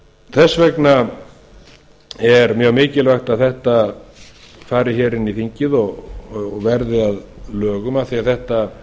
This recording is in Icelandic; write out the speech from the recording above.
þess vegna er mjög mikilvægt að þetta fari hér inn í þingið og verði að lögum af því þetta